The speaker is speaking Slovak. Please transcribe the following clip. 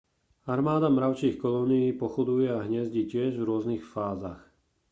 armáda mravčích kolónií pochoduje a hniezdi tiež v rôznych fázach